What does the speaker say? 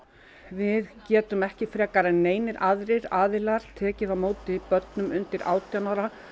við getum ekki frekar neinir aðrir aðilar tekið á móti börnum undir átján ára